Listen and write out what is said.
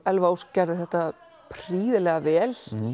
Elva Ósk gerði þetta prýðilega vel